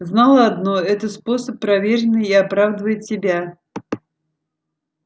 знала одно это способ проверенный и оправдывает себя